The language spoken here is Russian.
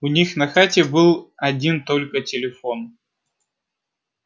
у них на хате был один только телефон